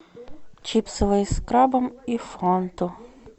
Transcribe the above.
чипсы лейс с крабом и фанту